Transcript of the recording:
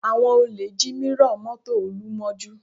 Àwọn olè jí mírọ̀ mọ́tò Olú mọ́jú